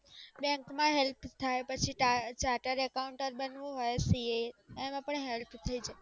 બેંકમાં help થાય પછી ચાર્ટર એકાઉન્ટ બનવું હોય CA આમાં પણ help થઈ જાય